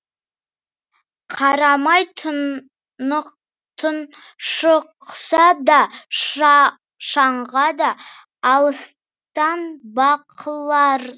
қарамай тұншықса да шаңға дала алыстан бақыларсың